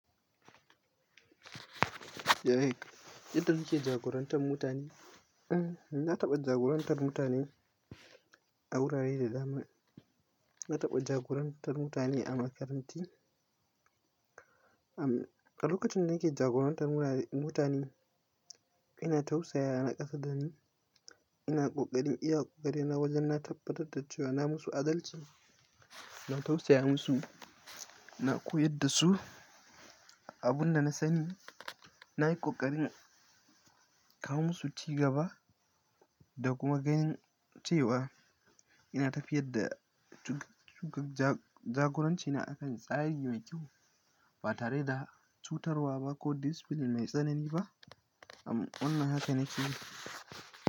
Yaya kake jagorantar mutane? Eh, na taɓa jagorantar mutane a wurare da dama. Na taɓa jagorantar mutane a makaranta. Am, a lokacin da nake jagorantar mutane, ina tausaya, na ƙasa dani, ina ƙoƙarin iya ƙoƙari na wajen na tabbatar da cewa na musu adalci. Ina tausaya musu, na koyar da su abun da na sani, na yi ƙoƙarin kawo musu cigaba da kuma ganin cewa ina tafiyar da jagoranci na akan tsari mai kyau, ba tare da cutarwa ba, ko discipline mai tsanani ba. Am, wannan haka nake yi.